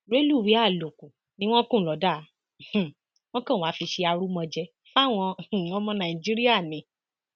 rẹlùwéè àlòkù ni wọn kùn lọdà um wọn kan wàá fi ṣe arúmọjẹ fáwọn um ọmọ nàìjíríà ni